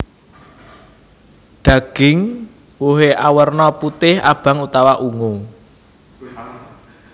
Daging wohé awerna putih abang utawa ungu